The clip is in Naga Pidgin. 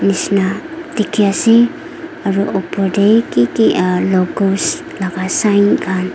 nisna dekhi ase aru opor te ki logos laga sign khan--